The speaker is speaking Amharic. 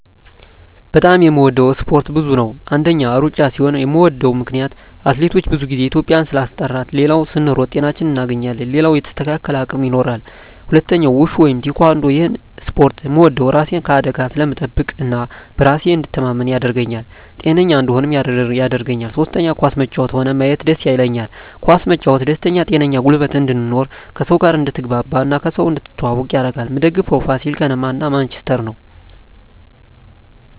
በጣም የምወደው እስፓርት ብዙ ነው አንደኛ እሩጫ ሲሆን ምወደው ምክነያት አትሌቶቻችን ብዙ ግዜ ኢትዩጵያን ስላስጠራት ሌላው ስንሮጥ ጤናችን እናገኛለን ሌላው የተስተካከለ አቅም ይኖራል ሁለተኛው ውሹ ወይም ቲካንዶ እሄን እስፖርት ምወደው እራሴን ከአደጋ ስለምጠብቅ እና በራሴ እንድተማመን ያረገኛል ጤነኛ እንድሆንም ያረገኛል ሶስተኛ ኳስ መጫወት ሆነ ማየት ደስ ይለኛል ኳስ መጫወት ደስተኛ ጤነኛ ጉልበት እንድኖር ከሰው ጋር አድትግባባ እና ከሰው እንድትተዋወቅ ያረጋል ምደግፈው ፋሲል ከነማ እና ማንችስተር ነው